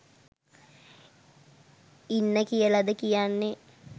ඉන්න කියලද කියන්නෙ?